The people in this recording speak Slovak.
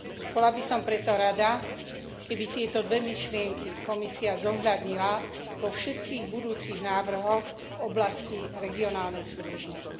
Bola by som preto rada, keby tieto dve myšlienky Komisia zohľadnila vo všetkých budúcich návrhoch v oblasti regionálnej súdržnosti.